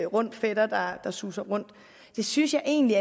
rund fætter der suser rundt jeg synes egentlig